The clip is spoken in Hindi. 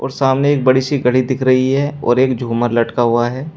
सामने एक बड़ी सी घड़ी दिख रही है और एक झूमर लटका हुआ है।